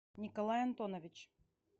николай антонович